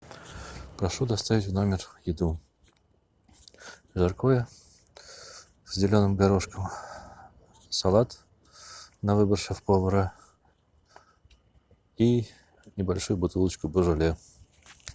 прошу доставить в номер еду жаркое с зеленым горошком салат на выбор шеф повара и небольшую бутылочку божоле